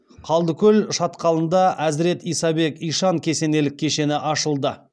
қылдыкөл шатқалында әзірет исабек ишан кесенелік кешені ашылды